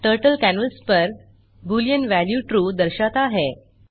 turtle canvas पर boolean value true दर्शाता है